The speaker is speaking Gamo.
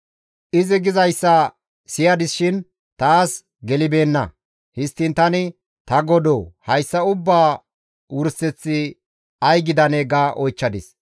Izi gizayssa siyadis shin taas gelibeenna; histtiin tani, «Ta Godoo! Hayssa ubbaa wurseththi ay gidanee?» ga oychchadis.